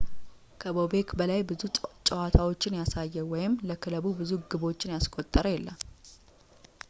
ከቦቤክ በላይ ብዙ ጨዋታዎችን ያሳየ ወይም ለክለቡ ብዙ ግቦችን ያስቆጠረ የለም